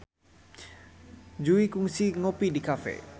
Jui kungsi ngopi di cafe